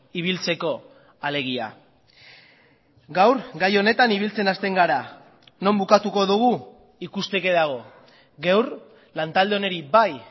ibiltzeko alegia gaur gai honetan ibiltzen hasten gara non bukatuko dugu ikusteke dago gaur lantalde honi bai